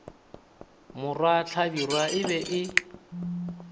morwa hlabirwa e be e